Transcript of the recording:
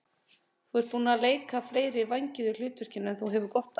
Þú ert búinn að leika fleiri vængjuð hlutverk en þú hefur gott af.